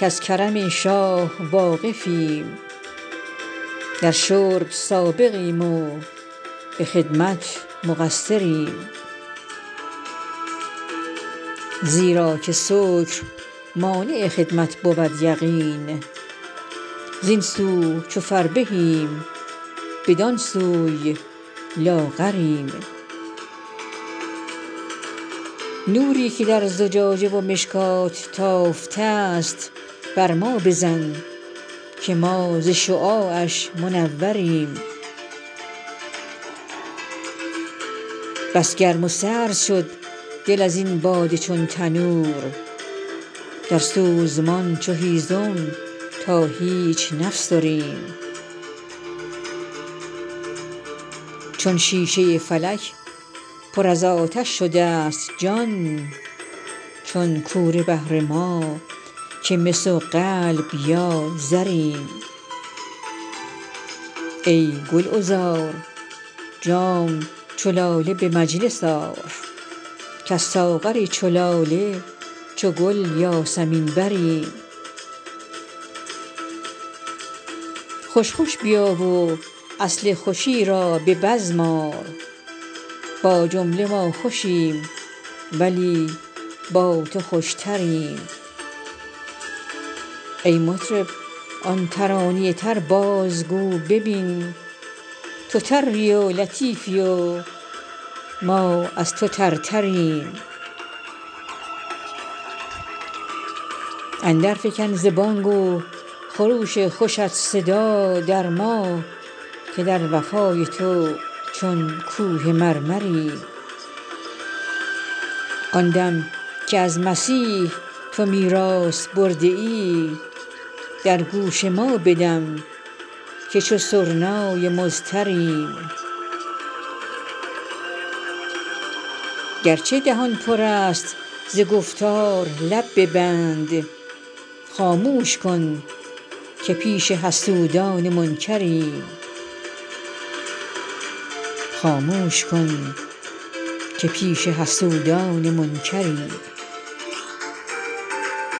کز کرم شاه واقفیم در شرب سابقیم و به خدمت مقصریم زیرا که سکر مانع خدمت بود یقین زین سو چو فربهیم بدان سوی لاغریم نوری که در زجاجه و مشکات تافته ست بر ما بزن که ما ز شعاعش منوریم بس گرم و سرد شد دل از این باده چون تنور درسوزمان چو هیزم تا هیچ نفسریم چون شیشه فلک پر از آتش شده ست جان چون کوره بهر ما که مس و قلب یا زریم ای گلعذار جام چو لاله به مجلس آر کز ساغر چو لاله چو گل یاسمین بریم خوش خوش بیا و اصل خوشی را به بزم آر با جمله ما خوشیم ولی با تو خوشتریم ای مطرب آن ترانه تر بازگو ببین تو تری و لطیفی و ما از تو ترتریم اندرفکن ز بانگ و خروش خوشت صدا در ما که در وفای تو چون کوه مرمریم آن دم که از مسیح تو میراث برده ای در گوش ما بدم که چو سرنای مضطریم گرچه دهان پر است ز گفتار لب ببند خاموش کن که پیش حسودان منکریم